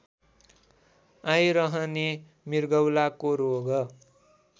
आइरहने मृगौलाको रोग